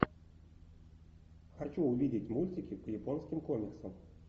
хочу увидеть мультики по японским комиксам